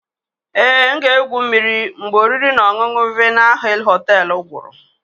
Ee, M ga-egwu mmiri mgbe oriri na ọṅụṅụ Vienna hill hotel guru.